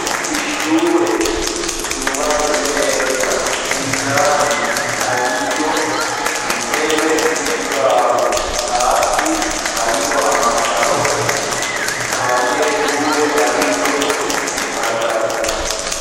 Ishure ryubatswe neza indani hariyo intebe n'ikibaho, hasi hariho amakaro, nta banyeshure bariyo haragaragara.